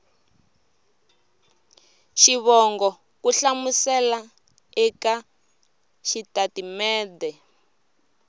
xivongo ku hlamusela eka xitatimede